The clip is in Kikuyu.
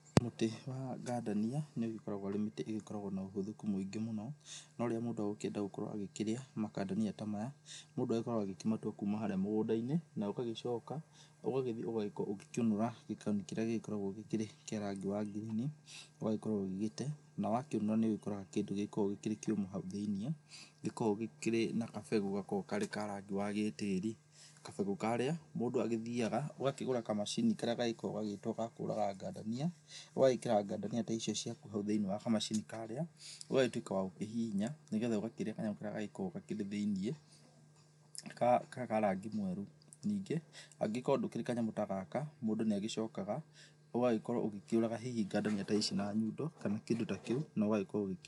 Mũtĩ wa ngandamia, nĩũgĩkoragwo wĩ mĩtĩ ĩgĩkoragwo ĩna ũhũthĩku mũingĩ mũno. No rĩrĩa mũndũ egũkĩenda gũkorwo agĩkĩrĩa makandamia ta maya, mũndũ agĩkoragwo agĩkĩmatua kuma harĩa mũgũnda-inĩ, na ũgagĩcoka ũgagĩthiĩ ũgagĩkorwo ũgĩkĩũnũra gĩkoni kĩrĩa gĩkoragwo kĩrĩa kĩa rangi wa ngirini, ũgagĩkorwo ũgĩgĩte. Na wakĩũnũra nĩ ũgĩkoraga kĩndũ gĩgĩkoragwo kĩrĩ kĩũmũ hau thĩ-inĩ, gĩkoragwo gĩkĩrĩ na kabegũ gakoragwo karĩ ka rangi wa gĩtĩĩri. Kabegu karĩa mũndũ agĩthiaga, ugakĩgũra kamacini karĩa gagĩkoragwo gagĩtwo ga kũraga ngandamia, ũgagĩkĩra ngandamia ta icio ciaku hau thĩ-inĩ wa kamacini karĩa, ũgagĩtwĩka wa gũkũhihinya, ni getha ũgakĩrĩa kanyamũ karĩa gagĩkoragwo gakĩrĩ thĩ-inĩ, karĩa ka rangi mwerũ. Ningĩ, angĩgĩkorwo ndũkĩrĩ kanyamũ ta gaka, mũndũ nĩagĩcokaga, ũgagĩkorwo ũgĩkĩũraga hihi ngandamia ta ici na nyundo kana kĩndũ ta kĩu, na ũgagĩkorwo ũgĩkĩrĩa.